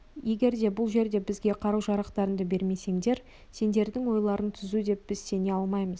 егерде бұл жерде бізге қару-жарақтарыңды бермесеңдер сендердің ойларың түзу деп біз сене алмаймыз